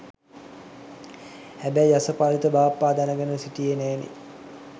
හැබැයි යසපාලිත බාප්පා දැනගෙන හිටියේ නෑනේ